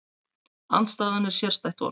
Andstæðan er sérstætt orð.